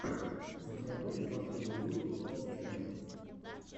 у тебя будет последний выпуск топ тэн